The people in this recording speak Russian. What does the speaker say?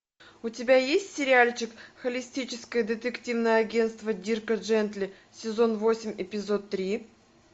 у тебя есть сериальчик холистическое детективное агентство дирка джентли сезон восемь эпизод три